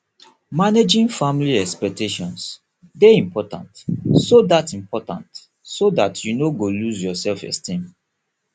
managing family expectations de important so that important so that you no go loose yor self esteem